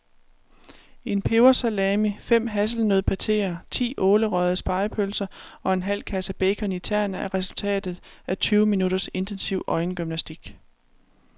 En pebersalami, fem hasselnøddepateer, ti ålerøgede spegepølser og en halv kasse bacon i tern er resultatet af tyve minutters intensiv øjengymnastik.